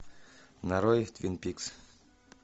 нарой твин пикс